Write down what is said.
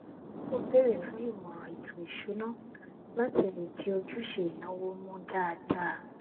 ó bèrè fún ìmọràn ètò ìṣúná láti lè di ojúṣe ìnáwó mú dáadáa